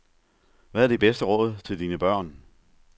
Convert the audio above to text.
Hvad er dit bedste råd til dine børn?